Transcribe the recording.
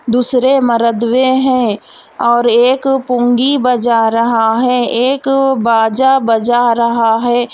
दूसरे मर्द वें हैं और एक पुंगी बजा रहा है एक बाजा बजा रहा है।